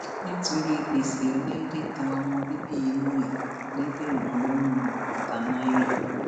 nítorí gbèsè ọláìdé ta ọmọbíbí inú ẹ lẹgbẹrún lọnà ẹgbẹta náírà